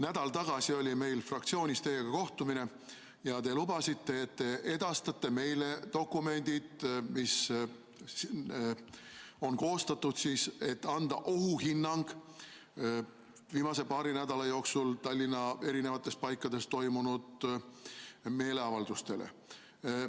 Nädal tagasi oli meil fraktsioonis teiega kohtumine ja te lubasite, et te edastate meile dokumendid, mis on koostatud, et anda ohuhinnang viimase paari nädala jooksul Tallinna eri paikades toimunud meeleavaldustele.